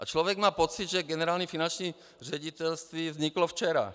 A člověk má pocit, že Generální finanční ředitelství vzniklo včera.